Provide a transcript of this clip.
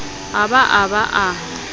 a ba a ba a